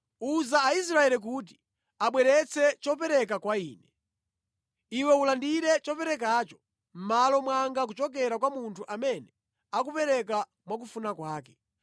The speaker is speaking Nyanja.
“Uza Aisraeli kuti abweretse chopereka kwa Ine. Iwe ulandire choperekacho mʼmalo mwanga kuchokera kwa munthu amene akupereka mwakufuna kwake.